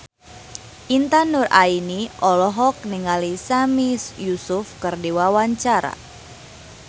Intan Nuraini olohok ningali Sami Yusuf keur diwawancara